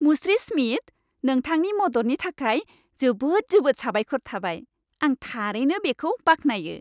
मुस्रि स्मिथ, नोंथांनि मददनि थाखाय जोबोद जोबोद साबायखर थाबाय। आं थारैनो बेखौ बाख्नायो।